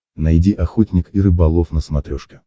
найди охотник и рыболов на смотрешке